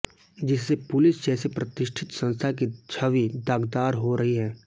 जिससे पुलिस जैसे प्रतिष्ठित संस्था की छवी दागदार हो रही है